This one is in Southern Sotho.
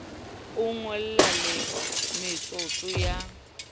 o ngole le metsotso ya